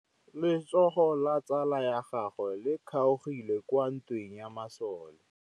Letsôgô la tsala ya gagwe le kgaogile kwa ntweng ya masole.